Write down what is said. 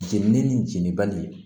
Jenini ni jeni bali